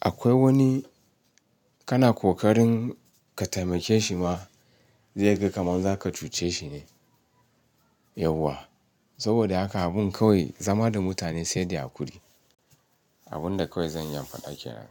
Akwai wani kana kokarin ka taimake shi ma zai ga kamar zaka cuce shi ne yauwa. Saboda haka abin kawai zama da mutane sai de hakuri. Abin da kawai zan iya in faɗa kenan.